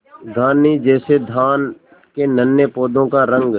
धानी जैसे धान के नन्हे पौधों का रंग